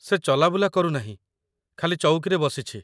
ସେ ଚଲାବୁଲା କରୁନାହିଁ, ଖାଲି ଚୌକିରେ ବସିଛି